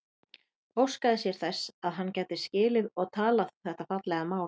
Óskaði sér þess að hann gæti skilið og talað þetta fallega mál.